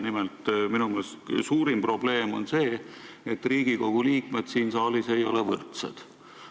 Nimelt, minu meelest on suurim probleem see, et Riigikogu liikmed siin saalis ei ole võrdsed.